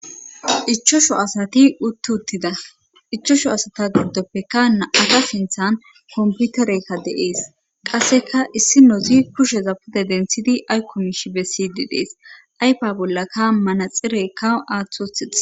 Ichashu asati uttuttida ichashu asata giddoppeka nam'ata sinthan komputerekka deees qasseka issinozi kusheza pude denthidi aykko mishi bessidi dees ayfa bollaka manaxirekka aaththi othidees.